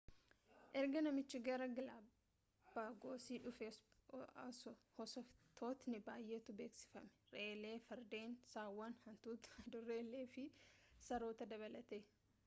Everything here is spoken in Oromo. erga namich gara galapagosii dhufee hoosiftootni bayyeetu beeksiifame re'eelee fardeen sawwan hantuutota adurreelee fi saroota dabalatee